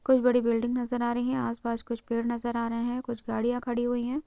कोई बड़ी बिल्डिंग नजर आ रही है आसपास कुछ पेड़ नजर आ रहे हैं कुछ गाड़ियां खड़ी हुई है